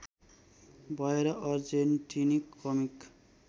भएर अर्जेन्टिनी कमिक